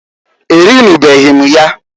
Erinubeghi m ya.